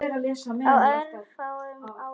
Á örfáum árum.